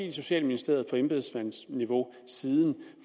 i socialministeriet på embedsmandsniveau siden